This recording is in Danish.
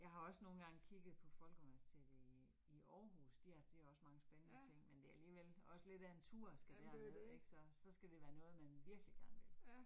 Jeg har også nogle gange kigget på Folkeuniversitetet i i Aarhus, de har de har også mange spændende ting, men det alligevel også lidt af en tur, skal derned ik, så så skal det være noget, men virkelig gerne vil